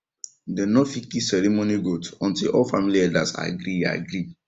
dem no fit kill ceremony goat until all family elders agree agree